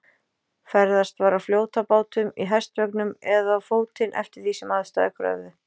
Ferðast var á fljótabátum, í hestvögnum eða á fótinn eftir því sem aðstæður kröfðu.